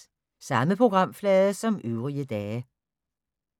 Samme programflade som øvrige dage